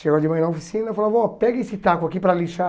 Chegava de manhã na oficina e falava, oh, pega esse taco aqui para lixar.